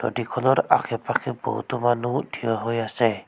নদীখনৰ আশে পাশে বহুতো মানুহ থিয় হৈ আছে।